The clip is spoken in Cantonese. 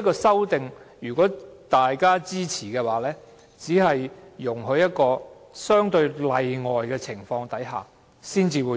的做法，如果大家支持這項修正案，也只是容許在相對例外的情況下引用。